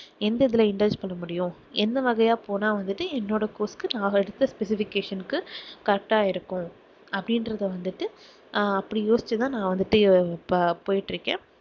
எந்த இதுல பண்ண முடியும் என்ன வகையா போனா வந்துட்டு என்னோட course கு நான் எடுத்த specification கு correct ஆ இருக்கும் அப்படின்றதை வந்துட்டு அப்படி யோசிச்சு தான் நான் வந்துட்டு இப்ப போயிட்டிருக்கேன்.